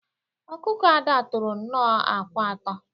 Ọkụkọ Ada tọrọ nnọọ akwa atọ.